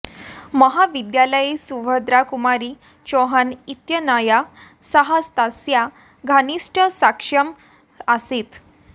महाविद्यालये सुभद्रा कुमारी चौहान इत्यनया सह तस्याः घनिष्ठसख्यम् आसीत्